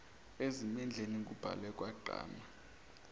ezimendleni kubhalwe kwagqama